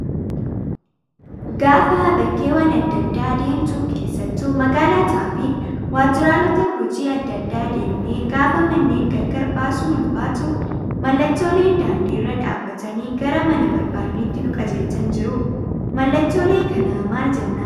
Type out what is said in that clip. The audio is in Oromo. Gaafa bakkeewwan adda addaa deemtu keessattuu magaalotaa fi waajjiroota hojii adda addaa deemnee gaafa manneen gargar baasuun ulfaatu mallattooleen daandiirra dhaabbatanii gara mana barbaadneetti nu qajeelchan jiru. Mallattolee kana maal jennaan?